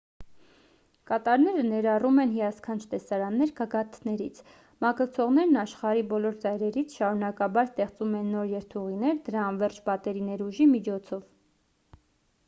կատարները ներառում են հիասքանչ տեսարաններ գագաթաներից մագլցողներն աշխարհի բոլոր ծայրերից շարունակաբար ստեղծում են նոր երթուղիներ դրա անվերջ պատերի ներուժի միջոցով